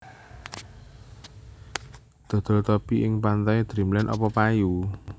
Dodol topi ning Pantai Dreamland opo payu